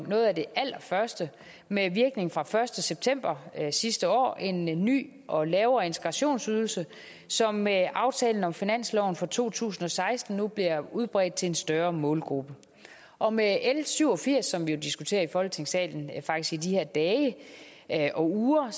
noget af det allerførste med virkning fra den første september sidste år en en ny og lavere integrationsydelse som med aftalen om finansloven for to tusind og seksten bliver udbredt til en større målgruppe og med l syv og firs som vi diskuterer her i folketingssalen i de her dage og uger